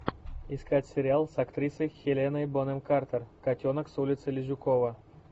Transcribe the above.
искать сериал с актрисой хеленой бонем картер котенок с улицы лизюкова